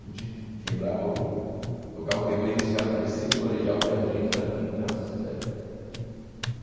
A gente quebrava o, tocava o terror indo uns caras do terceiro colegial ver a gente da quinta série.